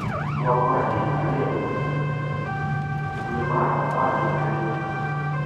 Twak mar 2: Tich Ariyo, dwe mar apar gi ariyo 2